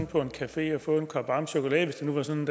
på en café og få en kop varm chokolade hvis det var sådan